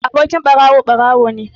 Abokin ɓarawo, ɓarawo ne